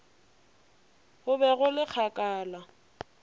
go be go le kgakala